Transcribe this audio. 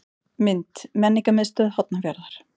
Mynd: Menningarmiðstöð Hornafjarðar.